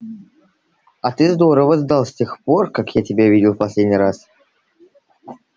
а ты здорово сдал с тех пор как я тебя видел в последний раз